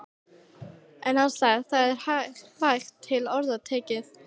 En hann sagði: Það er vægt til orða tekið.